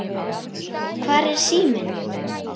Hvar er síminn?